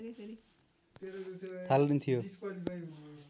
थालनी थियो